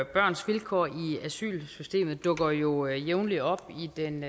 børns vilkår i asylsystemet dukker jo jævnligt op i den